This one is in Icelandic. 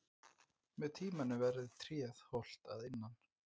Með tímanum verður tréð holt að innan.